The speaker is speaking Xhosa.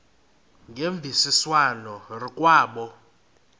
ngemvisiswano r kwabo